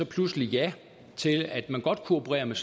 pludselig ja til at man godt kunne operere med